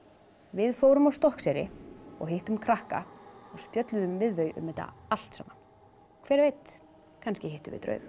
við fórum á Stokkseyri og hittum krakka og spjölluðum við þau um þetta allt saman hver veit kannski hittum við draug